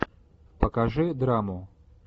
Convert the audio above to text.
покажи драму